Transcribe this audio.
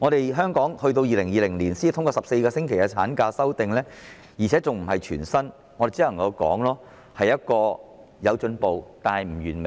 政府在2020年才提出修訂，將產假延長至14星期，而且更非全薪，我們只能說有進步，但不完美。